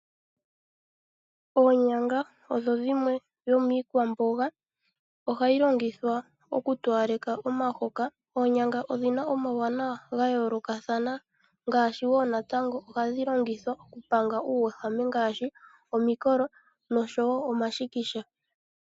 Oonyanga odho dhimwe dhomiikwamboga mbyoka hayi longithwa okutowaleka omahoka. Oonyanga odhi na omauwanawa ga yoolokathana ngaashi ohadhi longithwa okupanga omikolo nomashikisha.